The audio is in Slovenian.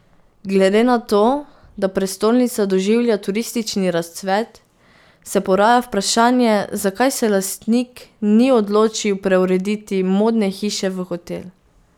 Glede na to, da prestolnica doživlja turistični razcvet, se poraja vprašanje, zakaj se lastnik ni odločil preurediti Modne hiše v hotel.